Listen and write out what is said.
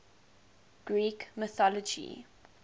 greek mythology